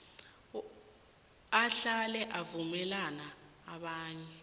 ahlale avumela abanye